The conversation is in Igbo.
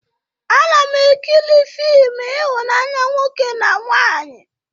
Ana m ekiri fịmụ ihụnanya nwoke na nwaanyị